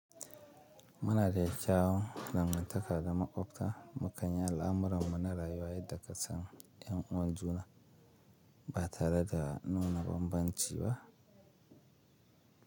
Muna da kyawun damuwa takarda maƙwabta mu kan yi al'amuran mu na rayuwa yadda ka san ƴan uwan juna ba tare da nuna bambanci ba.